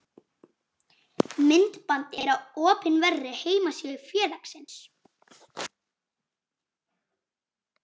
Myndbandið er á opinberri heimasíðu félagsins.